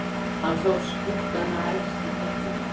Hann sá skuggana efst í fjallinu.